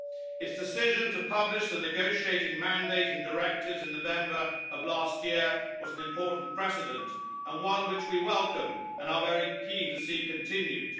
Its decision to publish the negotiating mandate and directives in November of last year was an important precedent and one which we welcome and are very keen to see continued.